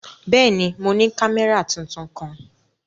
Bẹ́ẹ̀ni, mo ni kamẹra tuntun kan.